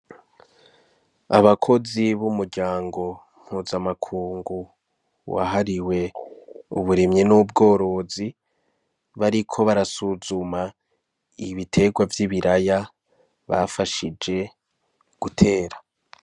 Abakozi b'umuryango mpuzamakungu wahariwe uburimyi n'ubworozi bariko barasuzuma ibiterwa vy'ibiraya bafashije gutera.